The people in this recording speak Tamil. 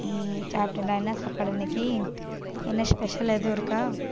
உம் சாப்பிட்டேன்டா. என்ன சாப்பாடு இன்னைக்கு? என்ன special எதுவும் இருக்கா